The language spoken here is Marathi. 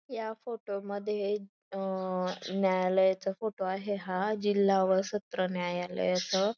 या फोटो मध्ये अ न्यायालयाचा फोटो आहे हा जिल्हा व सत्र न्यायालयाच --